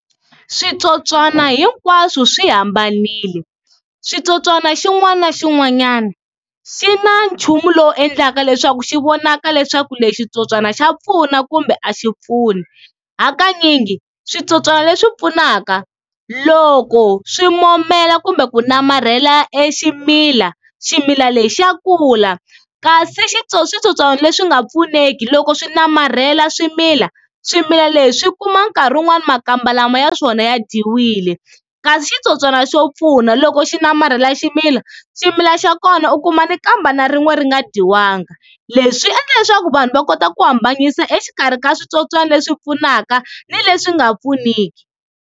Switsotswana hinkwaswo swi hambanile, xitsotswana xin'wana na xin'wanyana xi na nchumu lowu endlaka leswaku xi vonaka leswaku leswi switsotswana xa pfuna kumbe a xi pfuni, hakanyingi switsotswana leswi pfunaka loko swi momela kumbe ku namarhela e ximila, ximila lexi xa kula kasi switsotswana leswi nga pfuneki loko swi namarhela swimila, swimila leswi swi kuma nkarhi wun'wani makamba lama ya swona ya dyiwile kasi xitsotswana xo pfuna loko xi namarhela ximila, ximila xa kona u kuma nikambe na rin'we ri nga dyiwanga leswi swi endla leswaku vanhu va kota ku hambanyisa exikarhi ka switsotswana leswi pfunaka ni leswi nga pfuniki.